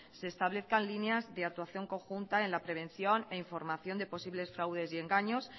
se establezcan líneas de actuación conjunta en la prevención e información de posibles fraudes y engaños